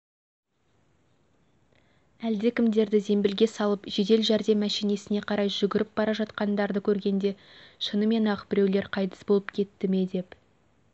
әлдекімдерді зембілге салып жедел жәрдем мәшинесіне қарай жүгіріп бара жатқандарды көргенде шынымен-ақ біреулер қайтыс болып кетті ме деп